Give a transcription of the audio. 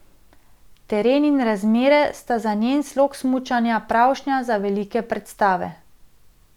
Teren in razmere sta za njen slog smučanja pravšnja za velike predstave.